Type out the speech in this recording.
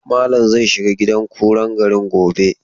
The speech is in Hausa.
Malam zai shiga gidan kuran garin gobe.